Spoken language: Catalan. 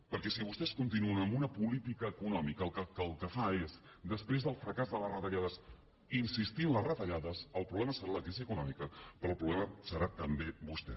perquè si vostès continuen amb una política econòmica que el que fa és després del fracàs de les retallades insistir en les retallades el problema serà la crisi econòmica però el problema serà també vostè